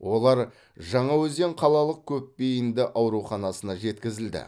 олар жаңаөзен қалалық көпбейінді ауруханасына жеткізілді